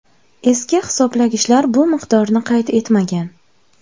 Eski hisoblagichlar bu miqdorni qayd etmagan.